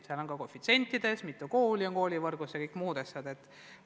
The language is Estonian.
Erinevus on ka koefitsientides, selles, mitu kooli on koolivõrgus ja muudes asjades.